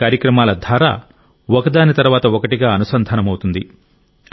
ఈ కార్యక్రమాల ధార ఒకదాని తర్వాత ఒకటిగా అనుసంధానమవుతుంది